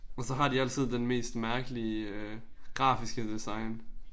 Og så har de altid den mest mærkelige grafiske design